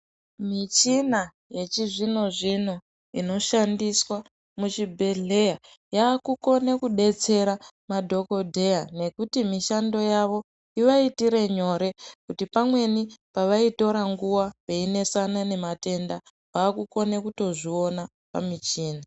Michina yechizvino-zvino inoshandiswa muzvibhehleya yakukone kudetsera madhokodheya nekuti mishando yavo ivaitire nyore kuti pamweni pavaitora nguwa veinesane nematenda vakukona kutozviona pamichini.